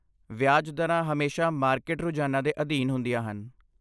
ਵਿਆਜ ਦਰਾਂ ਹਮੇਸ਼ਾ ਮਾਰਕੀਟ ਰੁਝਾਨਾਂ ਦੇ ਅਧੀਨ ਹੁੰਦੀਆਂ ਹਨ।